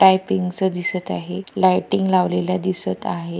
Typing चं दिसत आहेत लायटिंग लावलेल्या दिसत आहे.